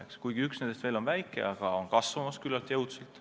Õigemini üks neljast on veel väike, aga kasvab küllalt jõudsalt.